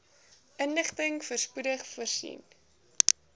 inligting spoedig voorsien